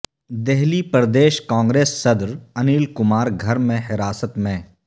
دہلی پردیش کانگریس صدر انل کمار گھر میں حراست میں